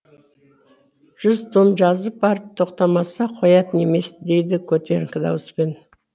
жүз том жазып барып тоқтамаса қоятын емес дейді көтеріңкі дауыспен